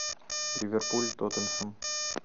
ливерпуль тоттенхэм